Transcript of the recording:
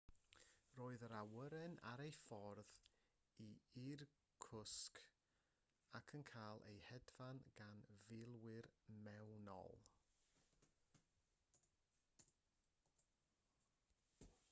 roedd yr awyren ar ei ffordd i irkutsk ac yn cael ei hedfan gan filwyr mewnol